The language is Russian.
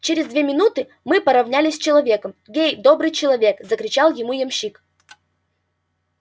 через две минуты мы поровнялись с человеком гей добрый человек закричал ему ямщик